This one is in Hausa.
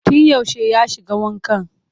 Tun yaushe ya shiga wankan?